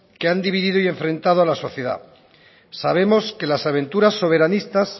que han dividido y enfrentado a la sociedad sabemos que las aventuras soberanistas